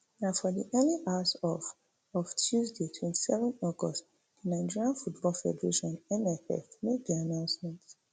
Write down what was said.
na for di early hours of of tuesday twenty-seven august di nigeria football federation nff make di announcement